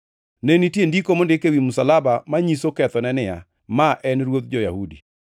Ne nitie ndiko mondik ewi msalaba manyiso kethone niya: Ma en Ruodh Jo-Yahudi.